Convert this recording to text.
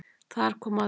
Þar kom að því